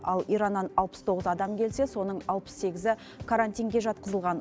ал ираннан алпыс тоғыз адам келсе соның алпыс сегізі карантинге жатқызылған